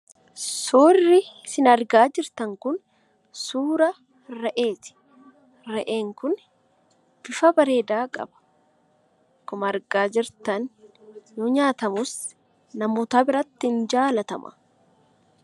Suurri isin argaa jirtan kun suura re'eeti. Re'een kun bifa bareedaa qaba. Akkuma argaa jirtan yoo nyaatamus namoota biratti in jaalatama.